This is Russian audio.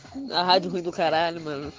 бухара